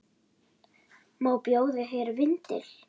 Má bjóða þér vindil?